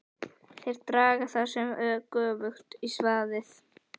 Þeir draga það sem er göfugt í svaðið.!